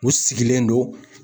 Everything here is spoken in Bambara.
U sigilen don.